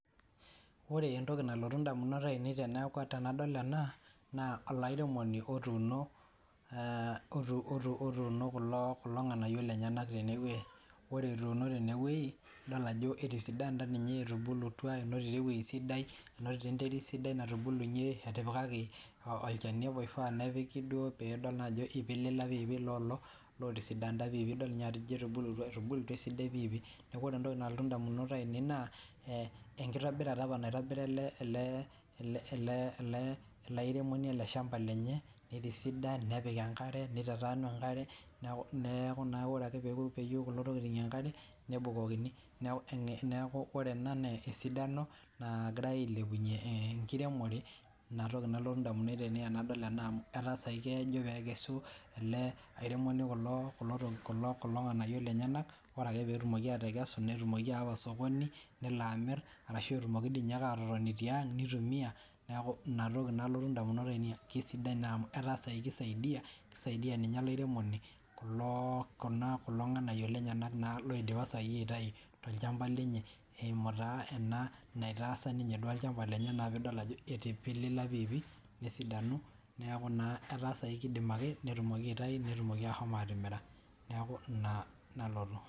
Ore entoki nalotu ndamunot ainei teneaku tenadol ena naa olairemoni otuuno , otuuno kulo, kulo nganayio lenyenak tene wuei , ore etuuno tene wuei idol ajo etisidanta ninye, etubulutua , enotito ewuei sidai , enotito enterit sidai , etipikaki olchani oifaa nepiki duo pidol naa ajo ipilipila piipi lolo entisidanta piipi, idol ninye ajo etubulutua , etubulutua esidai piipi ,niaku ore entoki nalotu ndamunot ainei naa enkitobirata apa naitobira ele , ele , ele , ele airemoni ele shamba lenye nitisidan nepik enkare , nitataanu enkare , niaku , niaku naa ore ake peyieu kulo tokitin nebukokini niaku, niaku ore ena naa esidano nagirae ailepunyie ee enkiremore ,inatoki nalotu ndamunot ainei tenaol ena amu etaa sai kejo pee ikesu ele airemoni kulo, kulo , kulo nganayio lenyenak, ore ake peetumoki atekesu , netumoki aawa osokoni nelo amir , ashu etumoki dii ninye ake atotoni tiang nitumia, niaku inatoki nalotu namunot aine amu kisidai naa amu etaa sai kisaidia , kisaidia ninye olairemoni kulo, kuna nganayio lenyenak naa loidipa sai aitai tolchamba lenye eimu taa ena naitaasa duo ninye olchamba lenye naa pidol ajo etipilila piipi nesidanu , neaku naa etaa sai kidim ake nindim aitayu netumoki ahomo atimiri, niaku ina , ina nalotu.